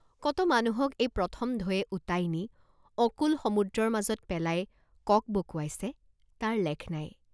কত মানুহক এই প্ৰথম ঢৌৱে উটাই নি অকূল সমুদ্ৰৰ মাজত পেলাই ককবকোৱাইছে তাৰ লেখ নাই।